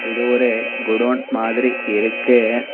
இது ஒரு குடோன் மாதிரி இருக்கு.